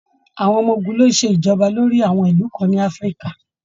Àwọn ọmọ ogun ló ń ṣe ìjọba lórí àwọn ìlú kan ní Afríkà